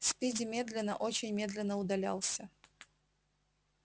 спиди медленно очень медленно удалялся